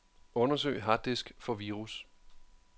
Undersøg harddisk for virus.